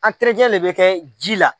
de bɛ kɛ ji la.